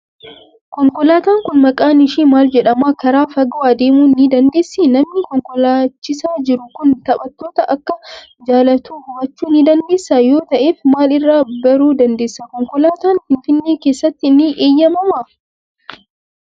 Konkolaataan kun maqaan ishii maal jedhama? Karaa fagoo adeemuu ni dandeessii? Namni konkolaachisaa jiru kun taphattoota akka jaalatu hubachuu ni dandeessaa? Yoo ta'eef, maal irraa baruu dandeesse? Konkolaataan Finfinnee keessatti ni eeyyamamaa?